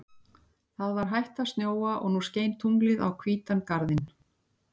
Það var hætt að snjóa og nú skein tunglið á hvítan garðinn.